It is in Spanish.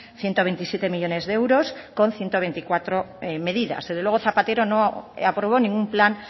ciento veintisiete millónes de euros con ciento veinticuatro medidas desde luego zapatero no aprobó ningún plan